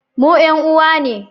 Mu 'yan uwa ne